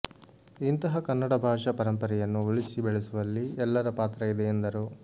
ಇಂತಹ ಕನ್ನಡ ಭಾಷಾ ಪರಂಪರೆಯನ್ನು ಉಳಿಸಿ ಬೆಳೆಸುವಲ್ಲಿ ಎಲ್ಲರ ಪಾತ್ರ ಇದೆ ಎಂದರು